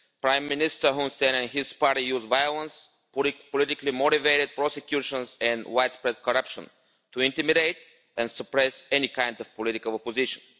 Prime Minister Hun Sen and his party use violence, politically motivated prosecutions and widespread corruption to intimidate and suppress any kind of political opposition.